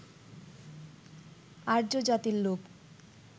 আর্য জাতির লোক